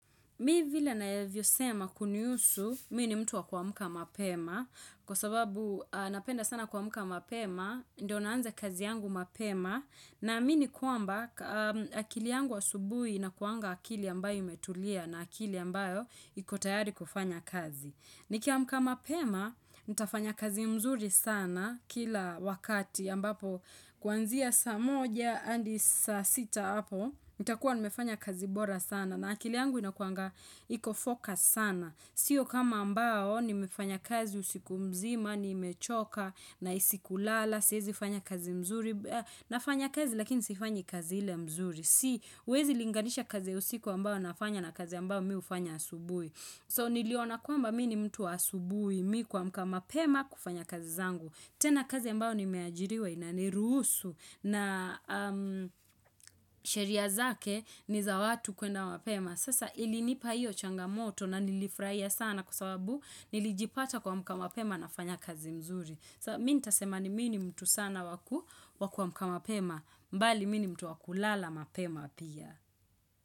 Mi vile nayavyosema kunihusu, mi ni mtu wa kuamka mapema, kwa sababu napenda sana kuamka mapema, ndio naanza kazi yangu mapema, naamini kwamba akili yangu asubuhi inakuanga akili ambayo imetulia na akili ambayo iko tayari kufanya kazi. Nikiamka mapema, nitafanya kazi mzuri sana kila wakati ambapo kuanzia saa moja adi sa sita apo, nitakuwa nimefanya kazi bora sana na akili yangu inakuanga iko focus sana. Sio kama ambao nimefanya kazi usiku mzima, nimechoka nahisi kulala, siezi fanya kazi mzuri, nafanya kazi lakini sifanyi kazi ile mzuri. Siwezi linganisha kazi ya usiku ambao nafanya na kazi ambao mi hufanya asubui. So niliona kwamba mi ni mtu wa asubui, mi kumka mapema kufanya kazi zangu. Tena kazi ambao nimeajiriwa inaniruhusu na sheria zake ni za watu kuenda mpema. Sasa ilinipa hiyo changamoto na nilifurahia sana kwa sababu nilijipata kuamka mapema nafanya kazi mzuri. So mi nitasema ni mi ni mtu sana wa kuamka mapema mbali mi ni mtu wa kulala mapema pia.